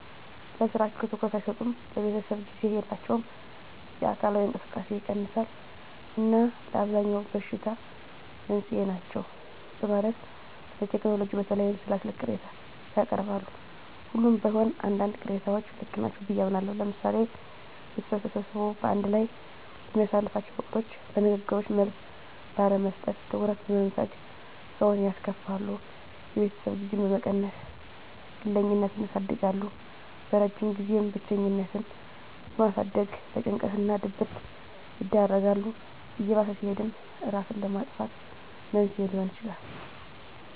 ለስራቸው ትኩረት አይሰጡም፣ ለቤተሰብ ጊዜ የላቸውም፣ የአካላዊ እንቅስቃሴ ይቀንሳል እና ለአብዛኛው በሽታ መንስኤ ናቸው በማለት ስለቴክኖሎጂ በተለይም ስለ ስልክ ቅሬታ ያቀርባሉ። ሁሉም ባይሆን አንዳንድ ቅሬታዎች ልክ ናቸው ብየ አምናለሁ። ለምሳሌ ቤተሰብ ተሰብስቦ በአንድ ላይ በሚያሳልፍላቸው ወቅቶች ለንግግሮች መልስ ባለመስጠት፣ ትኩረት በመንፈግ ሰውን ያስከፋሉ። የቤተሰብ ጊዜን በመቀነስ ግለኝነትን ያሳድጋል። በረጅም ጊዜም ብቸኝነትን በማሳደግ ለጭንቀት እና ድብረት ይዳርጋል። እየባሰ ሲሄድም እራስን ለማጥፋት መንስኤ ሊሆን ይችላል።